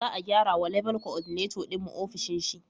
Za a gyrawa Level Coordinator din mu ofishin shi